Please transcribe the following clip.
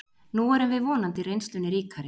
Nú erum við vonandi reynslunni ríkari